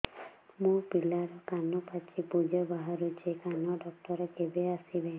ମୋ ପିଲାର କାନ ପାଚି ପୂଜ ବାହାରୁଚି କାନ ଡକ୍ଟର କେବେ ଆସିବେ